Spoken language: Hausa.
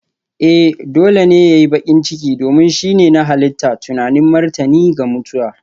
Ee! Dole ne ya yi baƙin ciki, domin shi ne na halitta tunanin martani ga mutuwa.